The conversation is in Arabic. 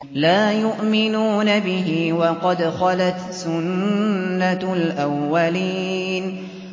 لَا يُؤْمِنُونَ بِهِ ۖ وَقَدْ خَلَتْ سُنَّةُ الْأَوَّلِينَ